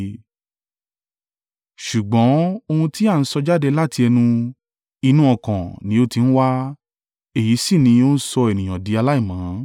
Ṣùgbọ́n ohun tí a ń sọ jáde láti ẹnu, inú ọkàn ni ó ti ń wá, èyí sì ni ó ń sọ ènìyàn di aláìmọ́.